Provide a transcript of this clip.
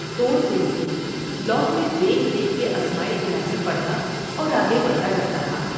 توڑ کے لیے لوح میں دیکھ دیکھ کے اسمائے الہی پڑھتا اور آگے بڑھتا جا تا تھا ۔